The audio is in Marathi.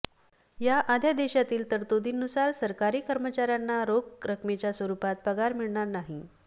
या अध्यादेशातील तरतुदींनुसार सरकारी कर्मचाऱ्यांना रोख रकमेच्या स्वरुपात पगार मिळणार नाही